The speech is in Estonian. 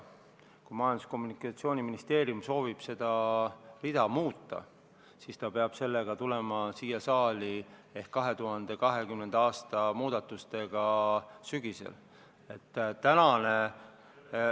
Kui Majandus- ja Kommunikatsiooniministeerium soovib seda rida muuta, siis ta peab selle ettepanekuga ehk 2020. aasta eelarve muudatusettepanekuga tulema siia sügisel.